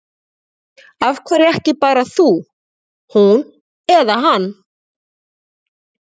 Af hverju ekki bara þú, hún eða hann?